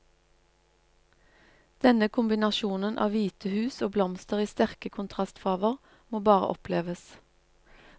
Denne kombinasjonen av hvite hus og blomster i sterke kontrastfarger må bare oppleves.